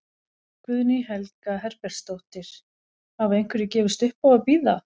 Guðný Helga Herbertsdóttir: Hafa einhverjir gefist upp á að bíða?